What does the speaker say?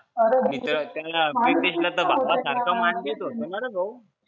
तिथं प्रीतेशला तर भावासारखा मान देत होत ना रे भो